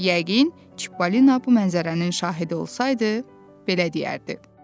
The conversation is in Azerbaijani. Yəqin Çippalina bu mənzərənin şahidi olsaydı, belə deyərdi.